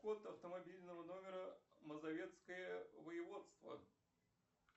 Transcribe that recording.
код автомобильного номера мазовецкое воеводство